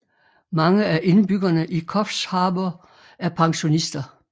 Mange af indbyggerne i Coffs Harbour er pensionister